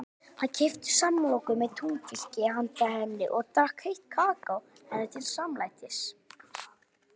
Hann keypti samloku með túnfiski handa henni og drakk heitt kakó henni til samlætis.